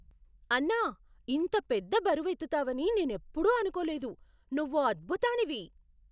అన్నా! ఇంత పెద్ద బరువెత్తుతావని నేనెప్పుడూ అనుకోలేదు, నువ్వో అద్భుతానివి!!